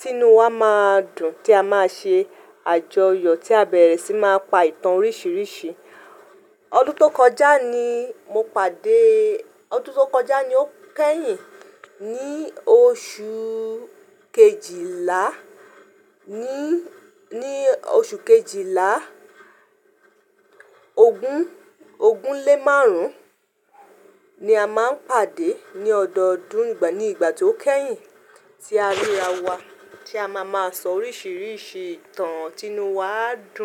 tinú wa máa dùn, tí a máa ṣe àjọyọ̀ tí a bẹ̀rẹ̀ sí máa pa ìtàn oríṣiríṣi. Ọdún tó kọjá ni mo pàdé-- ọdún tó kọjá ni ó kẹ́yìn ní oṣù kejìlá ní, ní oṣù kejìlá. Ogún, ogún lé márùn-ún ni a máa ń pàdé ní ọdọdún ní ìgbà tí ó kẹ́yìn tí a ríra wa tí a máa máa sọ oríṣiríṣi ìtàn, tinú wa dùn.